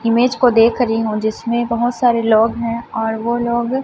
image को देख रही हूं जिसमें बहोत सारे लोग हैं और वो लोग--